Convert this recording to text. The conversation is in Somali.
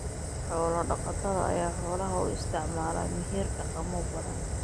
Xoolo-dhaqatada ayaa xoolaha u isticmaala meher dhaqamo badan.